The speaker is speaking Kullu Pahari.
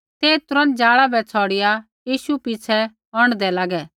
ते तुरन्त जाला बै छ़ौड़िआ यीशु पिछ़ै औंढदै लागै